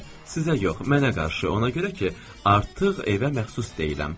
Sizə yox, mənə qarşı, ona görə ki, artıq evə məxsus deyiləm.